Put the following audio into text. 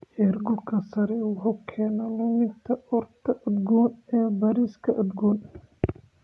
Heerkulka sare wuxuu keenaa luminta urta udgoon ee bariiska udgoon.